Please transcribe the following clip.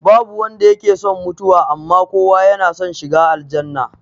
Babu wanda yake son mutuwa, amma kowa yana son shiga aljannah